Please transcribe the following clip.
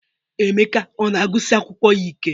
Emeka ọ na-agụsi akwụkwọ ya ike?